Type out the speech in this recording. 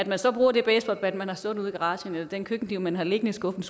man så bruger det baseballbat man har stående ude i garagen eller den køkkenkniv man har liggende i skuffen